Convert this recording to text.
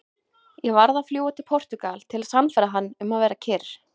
Ég varð að fljúga til Portúgal til að sannfæra hann um að vera kyrr.